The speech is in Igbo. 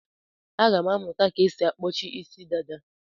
Aga m amụta ka esi akpọchi Ịsị dada.